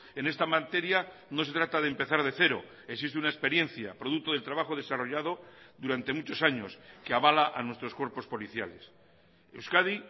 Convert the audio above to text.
en esta materia no se trata de empezar de cero existe una experiencia producto del trabajo desarrollado durante muchos años que avala a nuestros cuerpos policiales euskadi